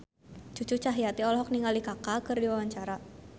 Cucu Cahyati olohok ningali Kaka keur diwawancara